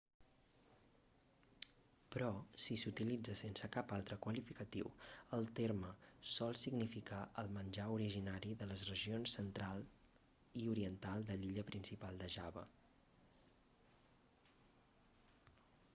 però si s'utilitza sense cap altre qualificatiu el terme sol significar el menjar originari de les regions central i oriental de l'illa principal de java